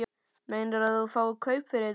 Meinarðu að þú fáir kaup fyrir þetta?